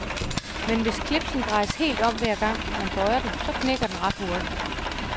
Men hvis clipsen drejes helt om hver gang, man bøjer den, så knækker den ret hurtigt.